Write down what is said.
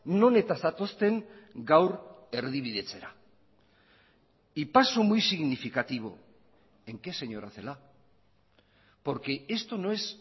non eta zatozten gaur erdibidetzera y paso muy significativo en qué señora celaá porque esto no es